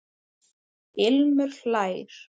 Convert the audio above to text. Ilmur hlær.